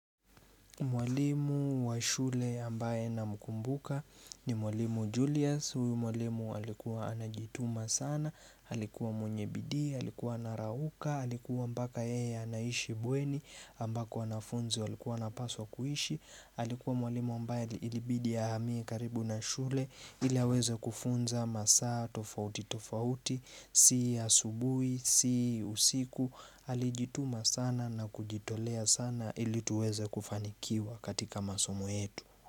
Mwalimu wa shule ambaye namkumbuka ni mwalimu Julius, huyu mwalimu alikuwa anajituma sana, alikuwa mwenye bidii, alikuwa anarauka, alikuwa mpaka yeye anaishi bweni ambako anafunzi, walikuwa wanapaswa kuishi. Alikuwa mwalimu ambaye ilibidi ahamie karibu na shule ili aweze kufunza masaa tofauti tofauti si asubuhi si usiku alijituma sana na kujitolea sana ili tuweze kufanikiwa katika masomo yetu.